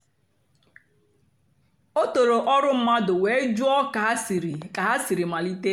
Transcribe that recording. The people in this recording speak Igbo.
o tòrò ọ́rụ́ mmadụ́ wéé jụ́ọ́ kà ha sìrì kà ha sìrì malìtè.